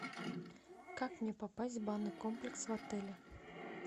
как мне попасть в банный комплекс в отеле